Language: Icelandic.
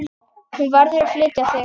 Hún verður að flytja.